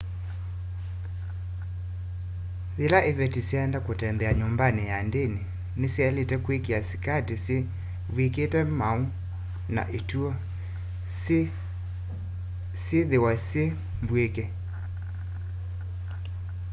yila ĩvetĩ syaenda kutembea nyumbani sya ndini nĩsyailite kwĩkĩa sĩkatĩ syĩ vyĩkĩte maũ na ĩtũa syĩ yĩthĩwa syĩ mbwĩke